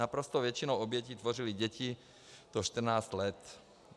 Naprostou většinu obětí tvořily děti do 14 let.